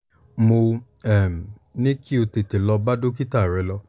mo um ní kí o tètè lọ bá dókítà rẹ̀ lọ